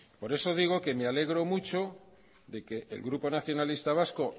por eso digo que me le alegro mucho de que el grupo nacionalista vasco